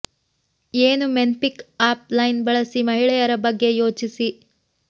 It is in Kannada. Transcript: ಏನು ಮೆನ್ ಪಿಕ್ ಅಪ್ ಲೈನ್ಸ್ ಬಳಸಿ ಮಹಿಳೆಯರ ಬಗ್ಗೆ ಯೋಚಿಸಿ